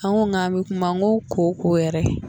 An ko kan bɛ kuma n ko kooko yɛrɛ